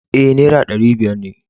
E, Naira ɗari biyar ne.